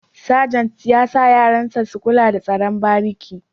Sajant ya sa yaran sa su kula da tsaron bariki